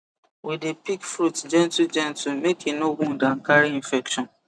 we dey pick fruit gentlegentle make e no wound and carry infection